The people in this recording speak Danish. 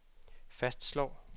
fastslår